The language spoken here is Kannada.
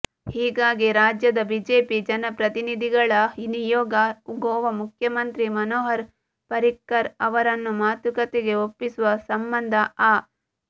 ಹೀಗಾಗಿ ರಾಜ್ಯದ ಬಿಜೆಪಿ ಜನಪ್ರತಿನಿಧಿಗಳ ನಿಯೋಗ ಗೋವಾ ಮುಖ್ಯಮಂತ್ರಿ ಮನೋಹರ್ ಪರಿಕ್ಕರ್ ಅವರನ್ನು ಮಾತುಕತೆಗೆ ಒಪ್ಪಿಸುವ ಸಂಬಂಧ ಆ